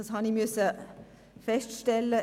Dies musste ich feststellen.